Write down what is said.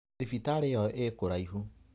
Thibitarĩ ĩyo ikũraihu.